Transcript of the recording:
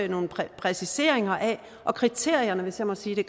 nogle præciseringer af kriterierne hvis jeg må sige det